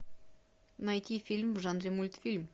найти фильм в жанре мультфильм